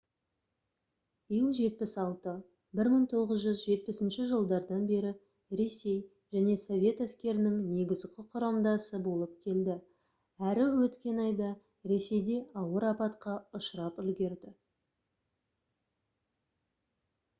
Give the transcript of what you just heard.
ил-76 1970 жылдардан бері ресей және совет әскерінің негізгі құрамдасы болып келді әрі өткен айда ресейде ауыр апатқа ұшырап үлгерді